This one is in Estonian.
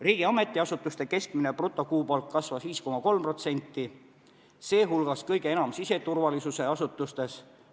Riigi ametiasutuste keskmine brutokuupalk kasvas 5,3%, sh kõige enam siseturvalisuse asutustes.